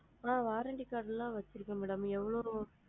ஆ warranty card லா வச்சு இருக்கேன் mam எவ்வளோ?